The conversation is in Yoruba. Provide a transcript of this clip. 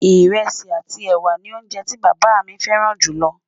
írèsì àti ẹwà ní oúnjẹ tí bàbá mí fẹràn jù ló